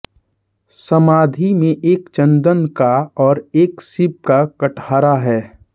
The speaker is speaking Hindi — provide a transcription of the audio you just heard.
समाधि में एक चंदन का और एक सीप का कटहरा है